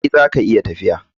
Eh, zaka iya tafiya.